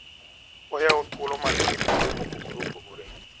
Oyawo thuolo mag dhi kuonde mopogore opogore.